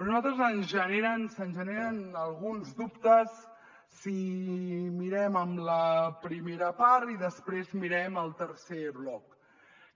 però a nosaltres se’n generen alguns dubtes si mirem la primera part i després mirem el tercer bloc